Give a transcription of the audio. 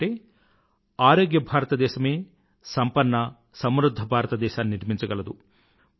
ఎందుకంటే ఆరోగ్య భారతదేశమే సంపన్న సమృధ్ధ భారతదేశాన్ని నిర్మించగలదు